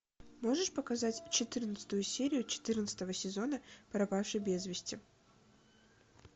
можешь показать четырнадцатую серию четырнадцатого сезона пропавший без вести